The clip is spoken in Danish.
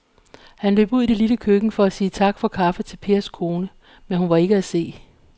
Han løb ud i det lille køkken for at sige tak for kaffe til Pers kone, men hun var ikke til at se.